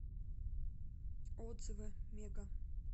отзывы мега